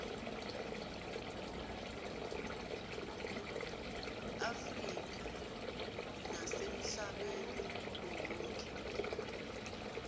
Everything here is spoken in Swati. afrika nasemhlabeni wonkhe